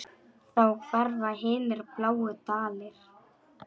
Þá hverfa hinir bláu dalir.